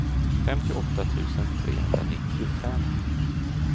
femtioåtta tusen trehundranittiofem